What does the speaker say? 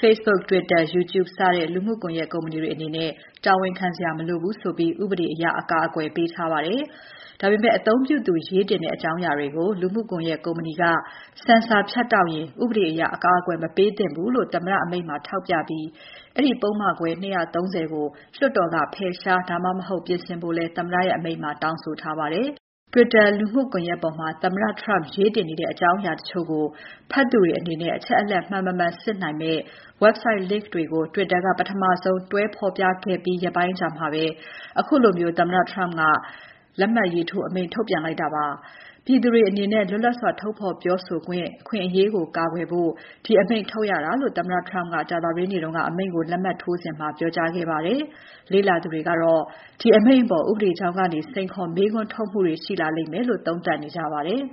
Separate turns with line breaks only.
Facebook, Twitter, YouTube စတဲ့ လူမှုကွန်ယက်ကုမ္ပဏီတွေအနေနဲ့ တာဝန်ခံစရာမလိုဘူးဆိုပြီး ဥပဒေအရ အကာအကွယ်ပေးထားပါတယ်။ ဒါပေမဲ့ အသုံးပြုသူရေးတင်တဲ့ အကြောင်းအရာကို လူမှုကွန်ယက်ကုမ္ပဏီက ဆင်ဆာဖြတ်တောက်ရင် ဥပဒေအရ အကာအကွယ်မပေးသင့်ဘူးလို့ သမ္မတအမိန့်မှာ ထောက်ပြပြီး အဲဒီ ပုဒ်မခွဲ ၂၃၀ ကို လွှတ်တော်က ဖယ်ရှား ဒါမှမဟုတ် ပြင်ဆင်ဖို့လည်း သမ္မတအမိန့်မှာ တောင်းဆိုထားပါတယ်။ Twitter လူမှုကွန်ယက်ပေါ်မှာ သမ္မတ Trump ရေးတင်နေတဲ့ အကြောင်းအရာတချို့ကို ဖတ်သူတွေအနေနဲ့ အချက်အလက် မှန် မမှန်စစ်နိုင်မယ့် Website link တွေ Twitter က ပထမဆုံးတွဲဖော်ပြခဲ့ပြီး ရက်ပိုင်းအကြာမှာပဲ ခုလို သမ္မတအမိန့်ကို လက်မှတ်ထိုး ထုတ်ပြန်လိုက်တာပါ။ အမေရိကန်ပြည်သူတွေရဲ့ လွတ်လပ်စွာ ထုတ်ဖော်ပြောဆိုခွင့် အခွင့်အရေးကို ကာကွယ်ဖို့ ဒီအမိန့်ထုတ်ရတာလို့ သမ္မတ Trump က ကြာသပတေးနေ့က အမိန့်ကိုလက်မှတ်ထိုးစဉ် ပြောကြားခဲ့ပါတယ်။ လေ့လာသူတွေကတော့ ဒီအမိန့်အပေါ် ဥပဒေကြောင်းကနေ စိန်ခေါ်၊ မေးခွန်းထုတ်မှုတွေ ရှိလာလိမ့်မယ်လို့ သုံးသပ်နေကြပါတယ်။